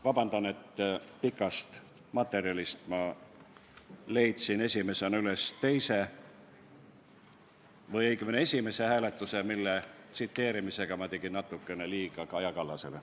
Vabandust, et materjalide seast ma leidsin esimesena üles teise või õigemini esimese hääletuse, millega ma tegin natukene liiga Kaja Kallasele.